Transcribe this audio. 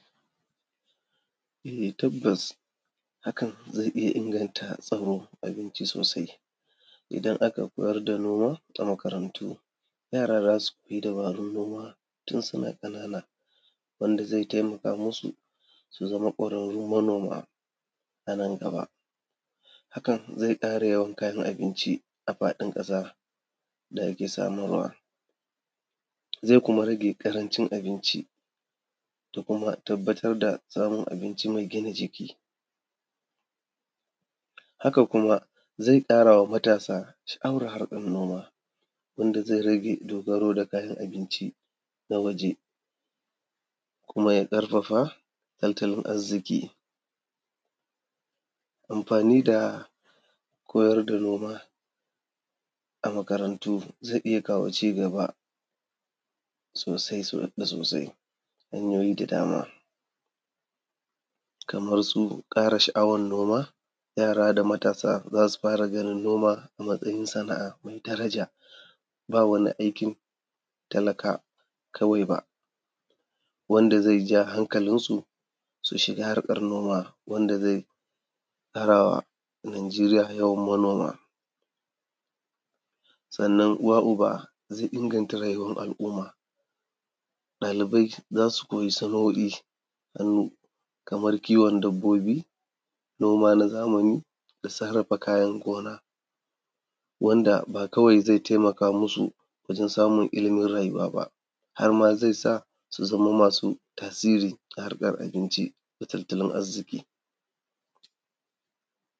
Eh, tabbas hakan zai iya inganta tsaron abinci sosai, idan aka koyar da noma a makarantu yara za su koya dabarun noma tun suna ƙanana wanda zai taimaka musu su zama kwararru manoma a nan gaba. Hakan zai ƙara yawan kayan abinci a faɗin ƙasa wanda ake samarwa, zai kuma rage ƙarancin abinci da kuma tabbatar da samun abinci mai gina jiki, hakan kuma zai ƙara ma matasa sha’awar harkan gona wanda zai rage dogaro da kayan abinci. Na miji kuma ya ƙarfafa tattalin arziki, amfani da koyar da noma a makarantu zai kawo cigaba sosai da sosai, hanyoyi da dama kamarsu ƙara sha’awar noma, yara da matasa za su fara ganin noma a matsayin sana’a mai daraja ba wani aikin talaka kawai ba wanda zai ja hakalinsu su shiga harkan noma wanda zai ƙara wa Nigeria yawan manoma sannan uwa uba zai inganta rayuwar al’umma. Dalibai za su koya saloli kamar kiwon dabbobi, noma na zamani da sarrafa kayan gona wanda ba kawai zai taimaka musu wajen samun ilimin rayuwa ba, har ma zai sa su zamo masu tasiri a harkar abinci da tattalin arziki.